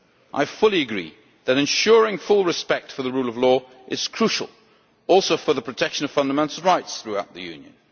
I fully agree that ensuring full respect for the rule of law is crucial to the protection of fundamental rights throughout the Union.